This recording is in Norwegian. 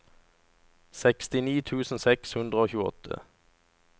sekstini tusen seks hundre og tjueåtte